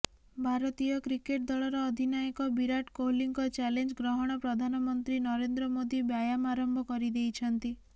ଭାରତୀୟ କ୍ରିକେଟ୍ ଦଳର ଅଧିନାୟକ ବିରାଟ କୋହଲିଙ୍କ ଚାଲେଞ୍ଜ୍ ଗ୍ରହଣ ପ୍ରଧାନମନ୍ତ୍ରୀ ନରେନ୍ଦ୍ର ମୋଦି ବ୍ୟାୟାମ ଆରମ୍ଭ କରିଦେଇଛନ୍ତି